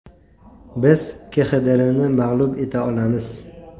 Biz KXDRni mag‘lub eta olamiz.